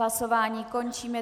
Hlasování končím.